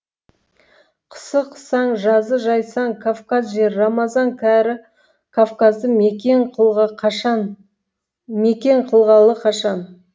қысы қысаң жазы жайсаң кавказ жері рамазан кәрі кавказды мекен қылғалы қашан